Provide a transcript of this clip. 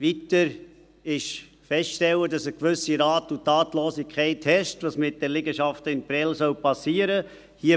Weiter ist festzustellen, dass eine gewisse Rat- und Tatlosigkeit herrscht, was mit den Liegenschaften in Prêles geschehen soll.